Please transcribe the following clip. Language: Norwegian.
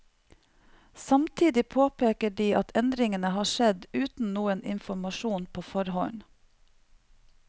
Samtidig påpeker de at endringene har skjedd uten noen informasjon på forhånd.